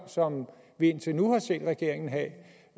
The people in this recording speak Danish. som vi indtil nu har set regeringen have